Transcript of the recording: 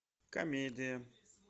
комедия